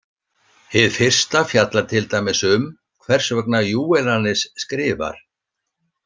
Hið fyrsta fjallar til dæmis um hvers vegna Júvenalis skrifar.